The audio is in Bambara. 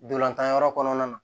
Dolantan yɔrɔ kɔnɔna na